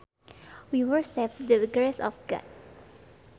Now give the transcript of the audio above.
We were saved by the grace of God